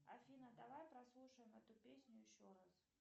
афина давай прослушаем эту песню еще раз